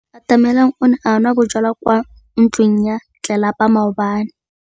Atamelang o ne a nwa bojwala kwa ntlong ya tlelapa maobane.